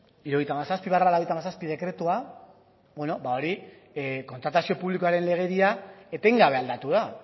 hirurogeita hamazazpi barra laurogeita hamazazpi dekretua hori kontratazio publikoaren legedia etengabe aldatu da